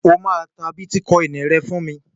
O máa ta bítíkọìnì rẹ fún.